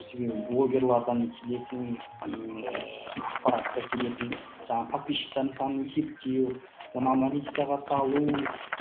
себебі блогерлардан келетін ыыы ақпаратқа келетін жаңағы подписчиктардың санын шектеу оны аналитикаға салу